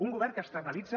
un govern que externalitza